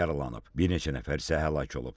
Bir neçə nəfər isə həlak olub.